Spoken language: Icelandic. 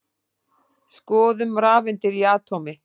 Skoðum rafeindir í atómi.